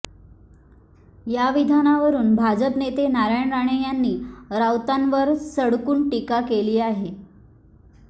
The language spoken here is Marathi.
या विधानांवरुन भाजप नेते नारायण राणे यांनी राऊतांवर सडकून टीका केली आहे